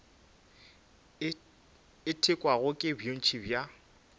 e thekgwago ke bontši bja